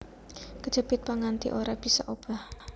Kejepit pang nganti ora bisa obah